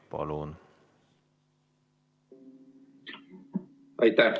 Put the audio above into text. Palun!